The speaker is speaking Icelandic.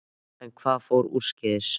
En hvað fór úrskeiðis?